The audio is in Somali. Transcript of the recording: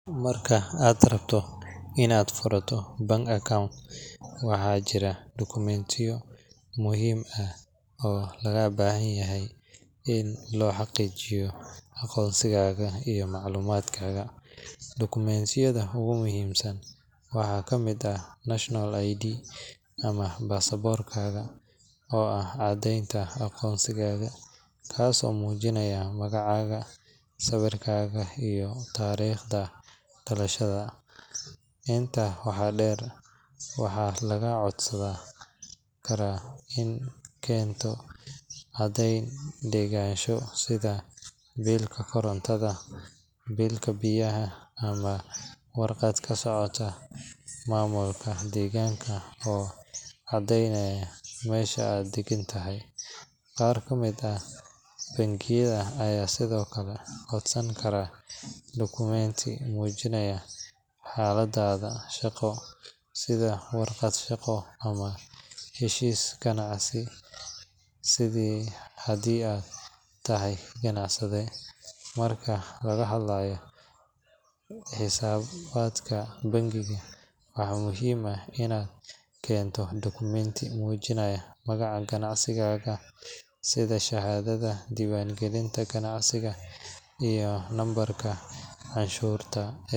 Marka aad rabto inaad furato bank account, waxaa jira dukumiintiyo muhiim ah oo lagaa baahan yahay si loo xaqiijiyo aqoonsigaaga iyo macluumaadkaaga. Dukumiintiyada ugu muhiimsan waxaa ka mid ah national ID ama baasaboorkaaga oo ah caddeynta aqoonsigaaga, kaasoo muujinaya magacaaga, sawirkaaga, iyo taariikhda dhalashadaada. Intaa waxaa dheer, waxaa lagaa codsan karaa inaad keento caddeyn deganaansho sida biilka korontada, biilka biyaha, ama warqad ka socota maamulka deegaanka oo cadeynaya meesha aad degan tahay. Qaar ka mid ah bangiyada ayaa sidoo kale codsan kara dukumiinti muujinaya xaaladdaada shaqo sida warqad shaqo ama heshiiska ganacsi haddii aad tahay ganacsade. Marka laga hadlayo xisaabaadka ganacsiga, waxaa muhiim ah inaad keento dukumiinti muujinaya magaca ganacsigaaga sida shahaadada diiwaangelinta ganacsiga iyo nambarka canshuurta.